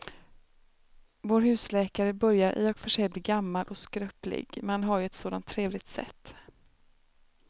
Vår husläkare börjar i och för sig bli gammal och skröplig, men han har ju ett sådant trevligt sätt!